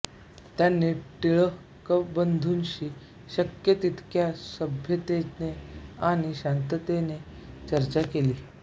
त्यांनी टिळकबंधूंशी शक्य तितक्या सभ्यतेने आणि शांततेने चर्चा केली